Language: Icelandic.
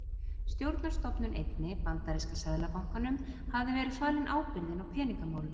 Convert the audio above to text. Stjórnarstofnun einni, Bandaríska seðlabankanum, hafði verið falin ábyrgðin á peningamálum.